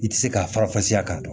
I ti se ka farafasiya k'a dɔn